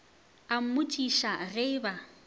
a mmotšiša ge e ba